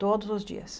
Todos os dias.